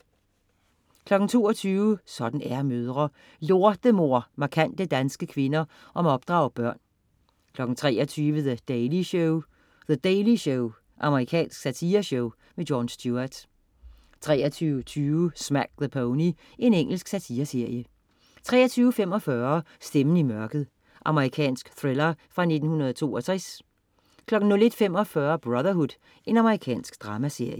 22.00 Sådan er mødre. "Lortemor" markante danske kvinder om at opdrage børn 23.00 The Daily Show. The Daily Show. Amerikansk satireshow. Jon Stewart 23.20 Smack the Pony. Engelsk satireserie 23.45 Stemmen i mørket. Amerikansk thriller fra 1962 01.45 Brotherhood. Amerikansk dramaserie